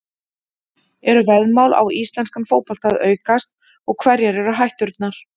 Eru veðmál á íslenskan fótbolta að aukast og hverjar eru hætturnar?